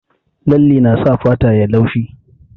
Lalle na sa fata yayi laushi